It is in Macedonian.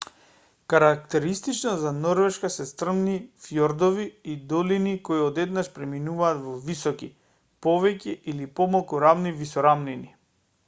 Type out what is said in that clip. карактеристично за норвешка се стрмни фјордови и долини кои одеднаш преминуваат во високи повеќе или помалку рамни висорамнини